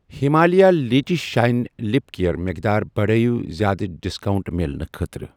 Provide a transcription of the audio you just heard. Himalaya lychee shine lip care مقدار بڑٲیِو زیادٕ ڈسکاونٛٹ مِلنہٕ خٲطرٕ۔